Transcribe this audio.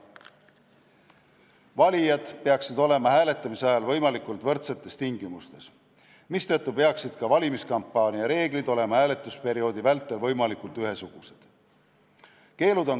Valijad peaksid olema hääletamise ajal võimalikult võrdsetes tingimustes, mistõttu peaksid ka valimiskampaania reeglid olema hääletusperioodi vältel võimalikult ühesugused.